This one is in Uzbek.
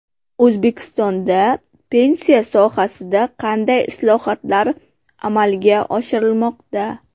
O‘zbekistonda pensiya sohasida qanday islohotlar amalga oshirilmoqda?.